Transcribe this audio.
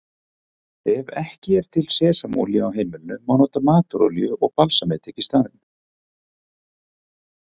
Ef ekki er til sesamolía á heimilinu má nota matarolíu og balsamedik í staðinn.